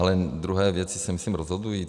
Ale druhé věci se myslím rozhodují.